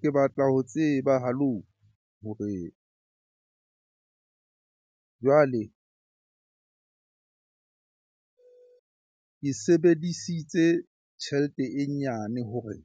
Ke batla ho tseba hore jwale ke sebedisitse tjhelete e nyane hore